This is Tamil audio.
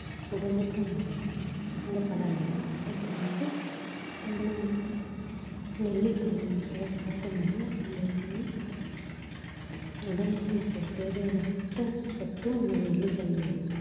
உடம்புக்கும் நல்லது இந்த பழ வகைகள் இப்ப வந்து நம்மள வந்து நெல்லிக்கனி அதை சாப்பிட்டீங்கனா உங்களுக்கு வந்து உடலுக்கு செ~ தேவையான அத்தனை சத்தும் இந்த நெல்லிக்கனியில இருக்கு